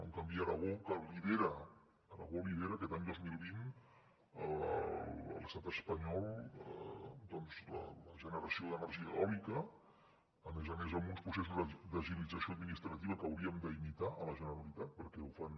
en canvi aragó que lidera aquest any dos mil vint a l’estat espanyol doncs la generació d’energia eòlica a més a més amb uns processos d’agilització administrativa que hauríem d’imitar a la generalitat perquè ho fan